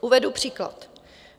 Uvedu příklad.